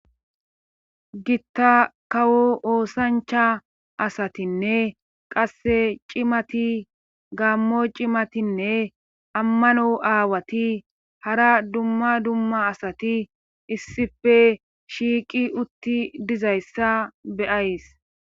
gitta kawo oosancha asatinne qasse cimati gaammo cimatinne ammano aawati hara dumma dumma asati issife shiiqi utti dizayssa beyays